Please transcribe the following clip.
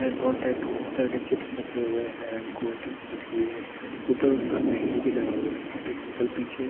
यहाँ बहोत टाइप तरह की चिप्स रखे हुए है अँड कोल्ड ड्रिंक्स रखी हुई है ऊपर उनका मेनू भी लगा हुआ है यहाँ पर इनका पीछे--